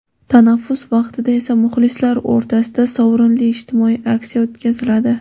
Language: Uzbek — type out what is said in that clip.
Tanaffus vaqtida esa muxlislar o‘rtasida sovrinli ijtimoiy aksiya o‘tkaziladi.